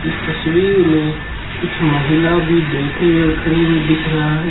इस तस्वीर मे कुछ महिला भी बैठे हुए और खड़े हुए दिख रहा है।